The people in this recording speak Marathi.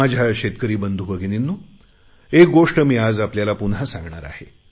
माझ्या शेतकरी बंधु भगिनींनो एक गोष्ट आज मी आपल्याला पुन्हा सांगणार आहे